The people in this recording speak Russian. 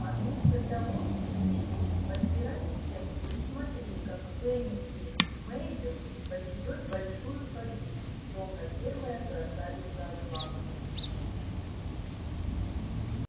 а вместо того сиди тут подпирай стенку и смотри как фэнни и мейбелл поведёт большую кадриль словно первая красавица атланты